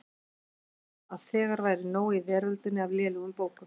Taldi hann að þegar væri nóg í veröldinni af lélegum bókum.